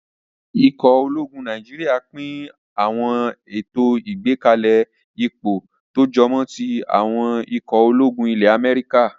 Ikọ̀ ológun Nàìjíríyà n pín àwọn ètò ìgbákalẹ̀ ipò tó jọmọ́ tí àwọn ikọ̀ ológun ilẹ́ Amẹ́ríkà